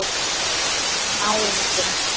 Gunnar: Góður náungi?